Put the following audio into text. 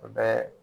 U bɛɛ